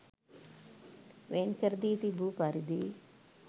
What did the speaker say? වෙන්කරදී තිබූ පරිදි